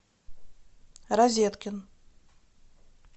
розеткин